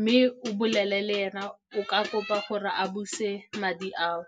mme o bolele le ena go ka kopa gore a buse madi ao.